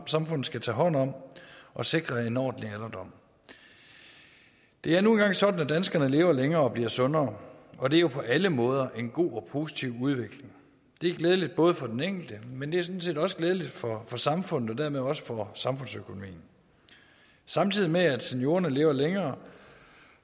samfundet skal tage hånd om og sikre en ordentlig alderdom det er nu engang sådan at danskerne lever længere og bliver sundere og det er jo på alle måder en god og positiv udvikling det er glædeligt for den enkelte men det er sådan set også glædeligt for samfundet og dermed også for samfundsøkonomien samtidig med at seniorerne lever længere